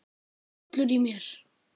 Hrollur í mér.